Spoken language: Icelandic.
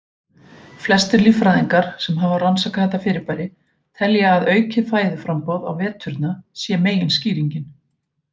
Flestir líffræðingar sem hafa rannsakað þetta fyrirbæri telja að aukið fæðuframboð á veturna sé meginskýringin.